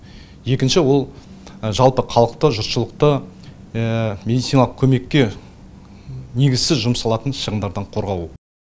екінші ол жалпы халықты жұртшылықты медициналық көмекке негізсіз жұмсалатын шығындардан қорғау